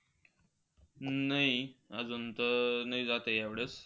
नाही अजून तरी नाही जात आहे ह्यावेळेस.